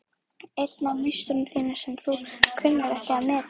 Einn af meisturum þínum sem þú kunnir ekki að meta.